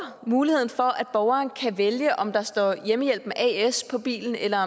muligheden for at borgerne kan vælge om der står hjemmehjælpen as på bilen eller